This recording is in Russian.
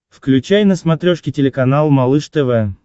включай на смотрешке телеканал малыш тв